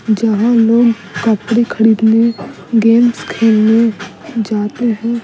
जहां लोग कपड़े खरीदने गेम्स खेलने जाते हैं।